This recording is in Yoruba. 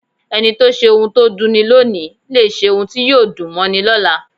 Ẹni tó ṣe ohun tó dunni lóòni lè ṣe ohun tí yóò dùn mọ́ni lọ́la.